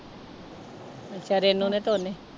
ਅੱਛਾ ਰੇਨੂੰ ਨੇ ਤੇ ਉਹਨੇ।